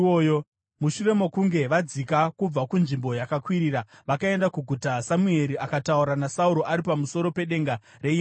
Mushure mokunge vadzika kubva kunzvimbo yakakwirira vakaenda kuguta, Samueri akataura naSauro ari pamusoro pedenga reimba yake.